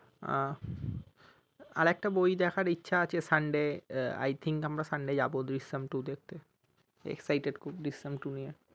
আহ আর একটা বই দেখার ইচ্ছা আছে sunday I think আমরা sunday যাব দৃশ্যাম two দেখতে exited খুব দৃশ্যাম two নিয়ে।